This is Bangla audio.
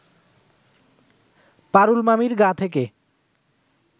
পারুল মামির গা থেকে